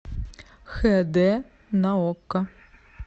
хд на окко